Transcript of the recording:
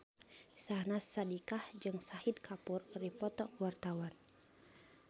Syahnaz Sadiqah jeung Shahid Kapoor keur dipoto ku wartawan